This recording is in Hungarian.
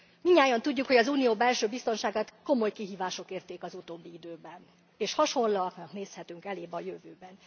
Mindnyájan tudjuk, hogy az Unió belső biztonságát komoly kihívások érték az utóbbi időben, és hasonlóaknak nézhetünk elébe a jövőben.